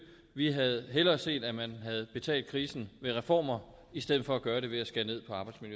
vi havde hellere set at man havde betalt krisen med reformer i stedet for at gøre det ved at skære ned